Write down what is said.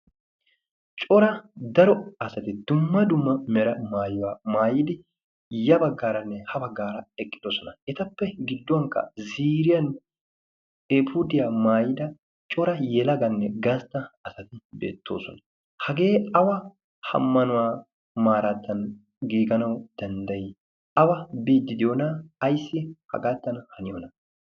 cora daro asati dumma dumma mera maayuwaa maayidi ya baggaaranne ha baggaara eqqidosona etappe gidduwankka ziriyan efudiyaa maayida cora yelaganne gastta asati deettoosona hagee awa hammanuwaa maaraattan giiganawu danddayi awa bididiyoona ayssi hagaattan haniyoona